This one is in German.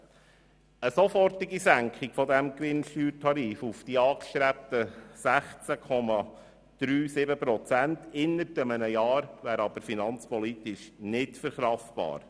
Eine sofortige Senkung des Gewinnsteuertarifs auf die angestrebten 16,37 Prozent innerhalb eines Jahres wäre aber finanzpolitisch nicht verkraftbar.